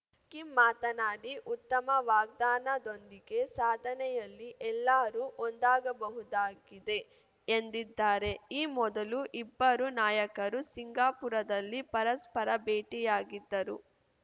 Kim ಮಾತನಾಡಿ ಉತ್ತಮ ವಾಗ್ದಾನದೊಂದಿಗೆ ಸಾಧನೆಯಲ್ಲಿ ಎಲ್ಲರೂ ಒಂದಾಗಬಹುದಾಗಿದೆ ಎಂದಿದ್ದಾರೆ ಈ ಮೊದಲು ಇಬ್ಬರೂ ನಾಯಕರು ಸಿಂಗಾಪುರದಲ್ಲಿ ಪರಸ್ಪರ ಭೇಟಿಯಾಗಿದ್ದರು